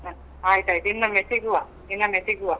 ಹ ಆಯ್ತಾಯ್ತು. ಇನ್ನೊಮ್ಮೆ ಸಿಗುವ, ಇನ್ನೊಮ್ಮೆ ಸಿಗುವ.